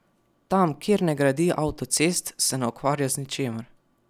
Tam, kjer ne gradi avtocest, se ne ukvarja z ničimer.